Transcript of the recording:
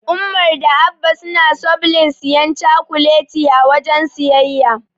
Umar da Abba suna sobln siyan cakuleti a wajen siyayya.